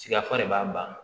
Sigafan de b'a banna